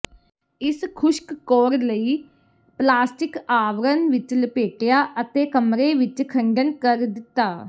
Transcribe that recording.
ਇਸ ਖੁਸ਼ਕ ਕੋਰ ਲਈ ਪਲਾਸਟਿਕ ਆਵਰਣ ਵਿੱਚ ਲਪੇਟਿਆ ਅਤੇ ਕਮਰੇ ਵਿੱਚ ਖੰਡਨ ਕਰ ਦਿੱਤਾ